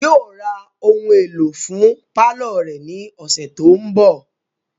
Yóò ra ohun èlò fún pálọ̀ rẹ̀ ni ọ̀sẹ̀ tó ń bọ̀